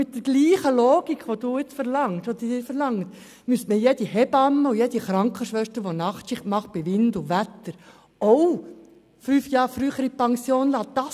Mit derselben Logik, welche Sie nun verlangen, müsste jede Hebamme oder Krankenschwester, welche Nachtschichten absolviert, ebenfalls fünf Jahre früher in die Pension entlassen werden.